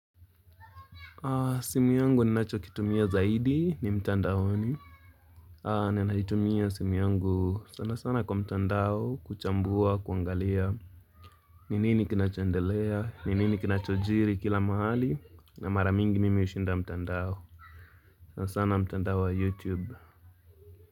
Ah, simu yangu ninacho kitumia zaidi ni mtandaoni. Ah, ninaitumia simu yangu sana sana kwa mtandao, kuchambua, kuangalia, ni nini kinachoendelea, ni nini kinachojiri kila mahali, na mara mingi mimi hushinda mtandao. Sana sana mtandao wa YouTube.